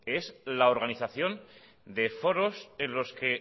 es la organización de foros en los que